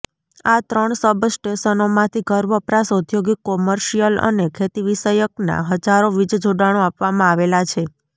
આ ત્રણ સબસ્ટેશનોમાંથી ઘરવપરાશ ઔદ્યોગિક કોર્મિશયલ અને ખેતીવિષયકના હજારો વીજજોડાણો આપવામાં આવેલા છે